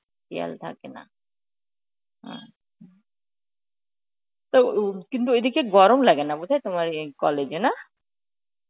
শিয়াল থাকে না, অঃ তো উম কিন্তু ওই দিকে গরম লাগে না বোধহয় তোমার এই college এ, না?.